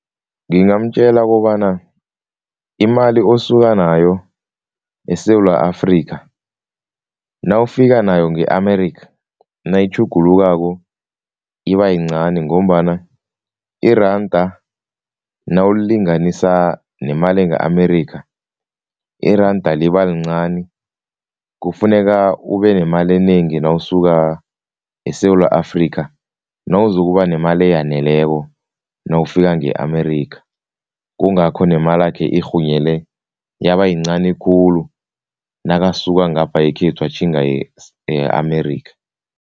Ngingamtjela kobana imali osuka nayo eSewula Afrika, nawufika nayo nge-America, nayitjhugulukako ibayincani ngombana iranda nawulilinganisa nemali nge-America, iranda liba lincani. Kufuneka ubenemali enengi nawo esuka eSewula Afrika, nawuzokuba nemali eyaneleko nawufika nge-America. Kungakho nemalakhe irhunyele yabayincani khulu nakasuka ngapha yekhethu atjhinga e-America.